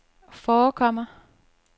forekommer